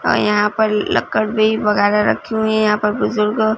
और यहाँ पर लकड़ भीं वगैरा रखी हुई हैं यहाँ पर बुजुर्ग--